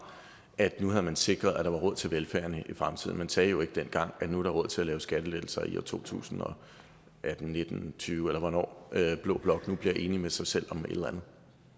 at nu havde man sikret at der var råd til velfærden i fremtiden man sagde jo ikke dengang at nu er der råd til at lave skattelettelser i og to tusind og nitten tyve eller hvornår blå blok nu bliver enige med sig selv om et eller